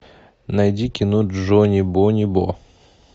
найди кино джони бони бо